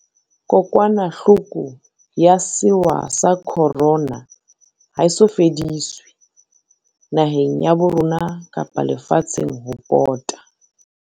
Kokwanahloko ya sewa sa Corona ha e so fediswe, naheng ya bo rona kapa le fatsheng ho pota.